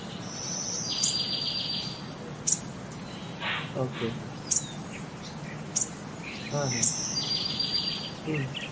Okay হা, হা। হম